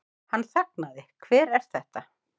Hann þagnaði, Hver er þetta?